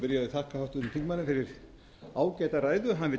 þingmanni fyrir ágæta ræðu hann vill